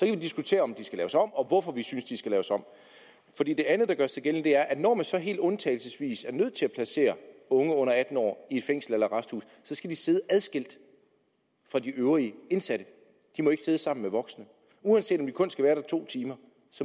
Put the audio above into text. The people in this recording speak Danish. vi diskutere om de skal laves om og hvorfor vi synes de skal laves om det andet der gør sig gældende er at når man så helt undtagelsesvis er nødt til at placere unge under atten år i fængsel eller arresthus skal de sidde adskilt fra de øvrige indsatte de må ikke sidde sammen med voksne uanset om de kun skal være der to timer